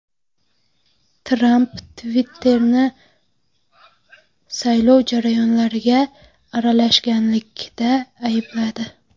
Tramp Twitter’ni saylov jarayonlariga aralashganlikda aybladi.